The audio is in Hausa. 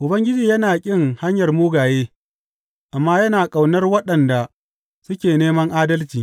Ubangiji yana ƙin hanyar mugaye amma yana ƙaunar waɗanda suke neman adalci.